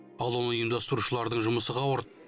ал оны ұйымдастырушылардың жұмысы қауырт